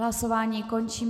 Hlasování končím.